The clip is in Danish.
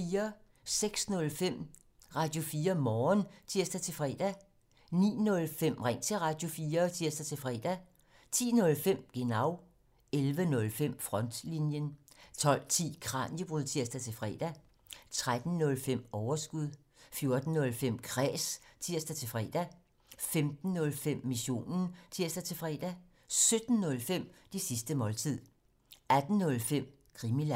06:05: Radio4 Morgen (tir-fre) 09:05: Ring til Radio4 (tir-fre) 10:05: Genau 11:05: Frontlinjen 12:10: Kraniebrud (tir-fre) 13:05: Overskud 14:05: Kræs (tir-fre) 15:05: Missionen (tir-fre) 17:05: Det sidste måltid 18:05: Krimiland